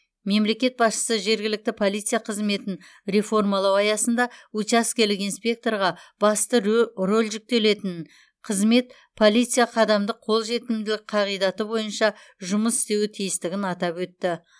мемлекет басшысы жергілікті полиция қызметін реформалау аясында учаскелік инспекторға басты рөл жүктелетінін қызмет полиция қадамдық қолжетімділік қағидаты боиынша жұмыс істеуі тиістігін атап өтті